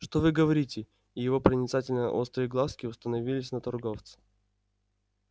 что вы говорите и его проницательно острые глазки уставились на торговце